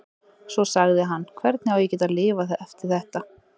Svo sagði hann: Hvernig á ég að geta lifað eftir þetta?